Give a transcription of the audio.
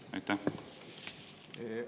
Aitäh!